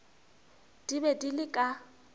di be di le ka